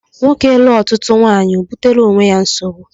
Nwoke lụọ ọtụtụ nwaanyị o butere onwe ya nsogbu